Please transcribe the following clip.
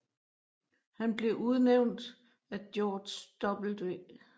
Han blev udnævnt af George W